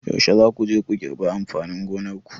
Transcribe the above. Yaushe za ku je ku girbi amfanin gonar ku?